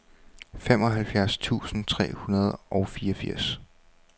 femoghalvfjerds tusind tre hundrede og fireogfirs